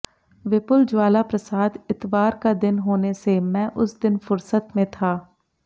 विपुल ज्वालाप्रसाद इतवार का दिन होने से मैं उस दिन फुर्सत में था